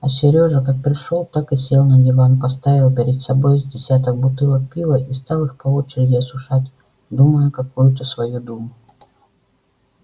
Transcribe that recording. а серёжа как пришёл так сел на диван поставил перед собой с десяток бутылок пива и стал их по очереди осушать думая какую-то свою думу